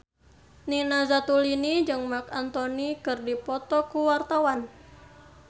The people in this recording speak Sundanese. Nina Zatulini jeung Marc Anthony keur dipoto ku wartawan